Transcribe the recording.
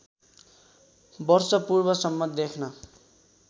वर्ष पूर्वसम्म देख्न